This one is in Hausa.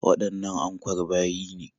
Waɗannan ankwar bayi ne?